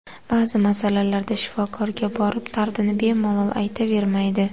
Ba’zi masalalarda shifokorga borib dardini bemalol aytavermaydi.